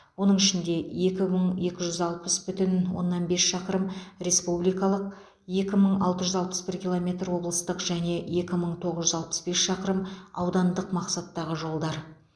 оның ішінде екі мың екі жүз алпыс бүтін оннан бес шақырым республикалық екі мың алты жүз алпыс бір километр облыстық және екі мың тоғыз жүз алпыс бес шақырым аудандық мақсаттағы жолдар